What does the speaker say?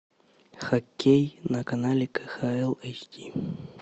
хоккей на канале кхл эйч ди